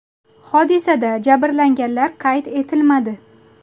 Hodisada jabrlanganlar qayd etilmadi.